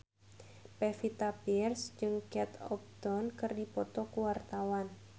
Pevita Pearce jeung Kate Upton keur dipoto ku wartawan